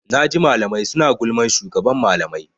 Naji malamai suna gulman shugaban malamai.